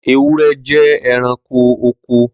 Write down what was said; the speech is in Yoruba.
Ewúrẹ́ jẹ́ ẹranko oko.